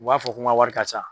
U b'a fɔ ko n ka wari ka ca.